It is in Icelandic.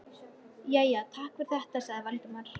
Jæja, takk fyrir þetta sagði Valdimar.